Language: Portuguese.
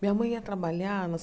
Minha mãe ia trabalhar nas.